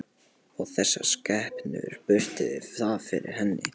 Og þessar skepnur brutu það fyrir henni.